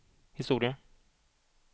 historia